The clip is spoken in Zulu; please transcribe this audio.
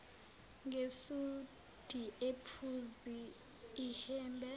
ngesudi ephuzi ihhembe